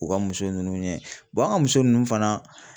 U ka muso nunnu ɲɛ an ka muso nunnu fana